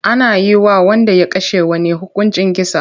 Ana yi wa wanda ya kashe wani hukuncin kisa.